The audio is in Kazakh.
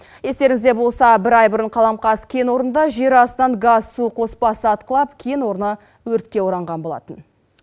естеріңізде болса бір ай бұрын қаламқас кен орнында жер астынан газ су қоспасы атқылап кен орны өртке оранған болатын